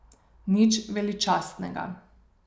Nič veličastnega.